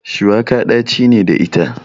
Shuwaka ɗaci ne da ita.